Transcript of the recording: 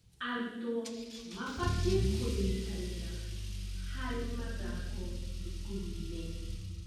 Arutwo mabatiĩ kũnyitanĩra harĩ mathako thukuru-inĩ.